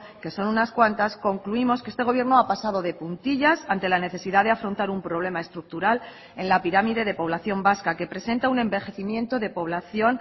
que son unas cuantas concluimos que este gobierno ha pasado de puntillas ante la necesidad de afrontar un problema estructural en la pirámide de población vasca que presenta un envejecimiento de población